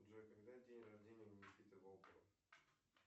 джой когда день рождения у никиты волкова